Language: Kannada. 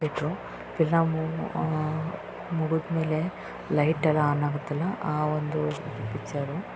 ಎಲ್ಲಾ ಮೂವ ಮುಗಿದ ಮೇಲೆ ಲೈಟ್‌ ಎಲ್ಲಾ ಆನ್‌ ಆಗುತ್ತಲ್ಲಾ ಆ ಒಂದು ಪೀಕ್ಚರ್ .